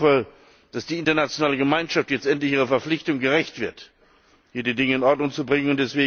Ich hoffe, dass die internationale Gemeinschaft jetzt endlich ihrer Verpflichtung gerecht wird, hier die Dinge in Ordnung zu bringen.